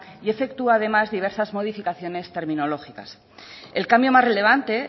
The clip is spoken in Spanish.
y efectúa además diversas modificaciones terminológicas el cambio más relevante